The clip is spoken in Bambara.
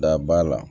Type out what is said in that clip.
Da ba la